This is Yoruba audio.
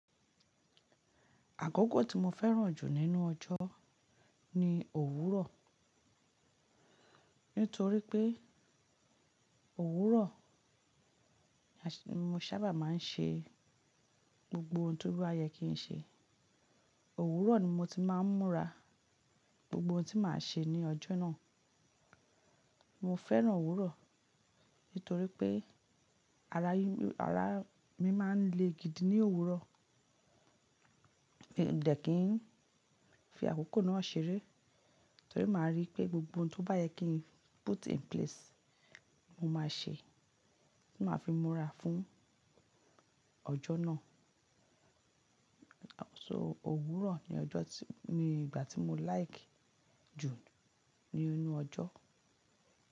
Àkoko tí mo fẹ́ràn jù nínú ọjọ́ ni òwúrọ̀. Nítorí pé òwúrọ̀, mo sábà máa ń ṣe gbogbo ohun tí ó bá yẹ kí n ṣe. Òwúrọ̀ ni mo ti máa ń múra gbogbo ohun tí màá ṣe ní ọjọ́ náà. Mo fẹ́ràn òwúrọ̀ nítorí pé ara mi, ara mi máa ń le gidi ní òwúrọ̀. De kí n fi àkókò náà ṣeré torí màá rí pé gbogbo ohun tó bá yẹ kí n put in place, mo máa ṣe. Ti máa fi múra fún ọjọ́ náà. So òwúrọ̀ ni ọjọ́ tí-- ni ìgbà tí mo like jù ní inú ọjọ́.